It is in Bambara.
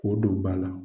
K'o don ba la